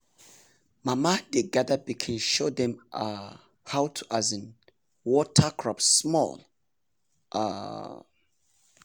mama dey gather pikin show dem um how to um water crop small small. um